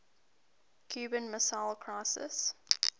cuban missile crisis